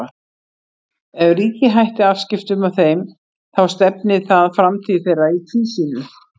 Ef ríkið hætti afskiptum af þeim þá stefni það framtíð þeirra í tvísýnu.